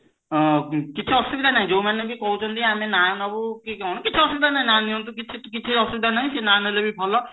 ହଁ କିଛି ଅସୁବିଧା ନାହିଁ ଯୋଉମାନେ ବି କହୁଛନ୍ତି ଆମେ ନାଁ ନବୁ କି କଣ କିଛି ଅସୁବିଧା ନାହିଁ ନାଁ ନିଅନ୍ତୁ କିଛି କିଛି ଅସୁବିଧା ନାହିଁ ସିଏ ନାଁ ନେଲେ ବି ଭଲ